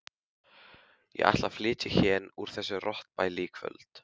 Ég ætla að flytja héðan úr þessu rottubæli í kvöld.